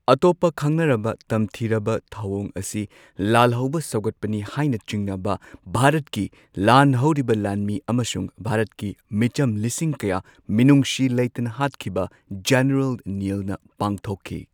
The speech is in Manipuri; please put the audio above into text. ꯑꯇꯣꯞꯄ ꯈꯪꯅꯔꯕ ꯇꯝꯊꯤꯔꯕ ꯊꯧꯋꯣꯡ ꯑꯁꯤ ꯂꯥꯜꯍꯧꯕ ꯁꯧꯒꯠꯄꯅꯤ ꯍꯥꯏꯅ ꯆꯤꯡꯅꯕ ꯚꯥꯔꯠꯀꯤ ꯂꯥꯟ ꯍꯧꯔꯤꯕ ꯂꯥꯟꯃꯤ ꯑꯃꯁꯨꯡ ꯚꯥꯔꯠꯀꯤ ꯃꯤꯆꯝ ꯂꯤꯁꯤꯡ ꯀꯌꯥ ꯃꯤꯅꯨꯡꯁꯤ ꯂꯩꯇꯅ ꯍꯥꯠꯈꯤꯕ ꯖꯦꯅꯔꯦꯜ ꯅꯤꯜꯅ ꯄꯥꯡꯊꯣꯛꯈꯤ꯫